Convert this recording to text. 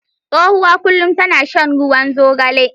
Tsohuwa kullum tana shan ruwan zogale.